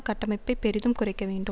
கட்டமைப்பை பெரிதும் குறைக்க வேண்டும்